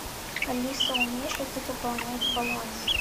алиса умеешь ли ты пополнять баланс